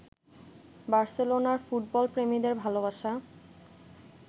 বার্সেলোনার ফুটবলপ্রেমীদের ভালোবাসা